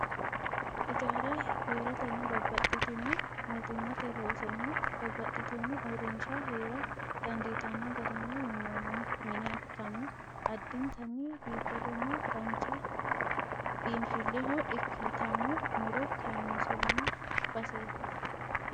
Ijaara heeratenna babbaxitino mootimmate loosonna babbaxitino uurrinsha heera dandiittano garinni minnoonni mine ikkanna addintanni biifadonna dancha biinfileho ikkitanno mu'ro kaaynsoonni baseeti.